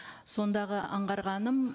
сондағы аңғарғаным